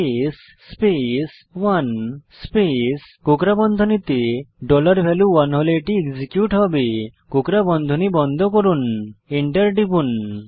case space 1 space কোকড়া বন্ধনীতে dollar value 1 হলে এটি এক্সিকিউট হবে কোকড়া বন্ধনী বন্ধ করুন এন্টার টিপুন